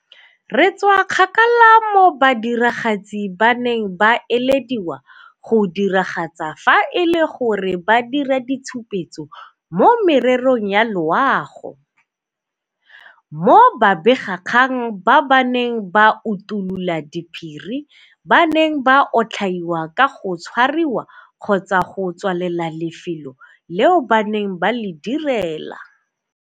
Re tswa kgakala mo badiragatsi ba neng ba ilediwa go diragatsa fa e le gore ba dira ditshupetso mo mererong ya loago, mo babegakgang ba ba neng ba utulola diphiri ba neng ba otlhaiwa ka go tshwariwa kgotsa go tswalela lefelo leo ba neng ba le direla.